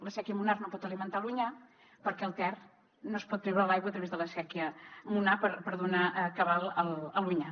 la séquia monar no pot alimentar l’onyar perquè al ter no es pot treure l’aigua a través de la séquia monar per donar cabal a l’onyar